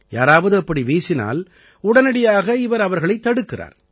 யாராவது அப்படி வீசினால் உடனடியாக இவர் அவர்களைத் தடுக்கிறார்